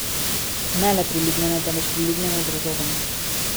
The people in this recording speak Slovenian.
Ne le priljubljene, temveč priljubljene z razlogom.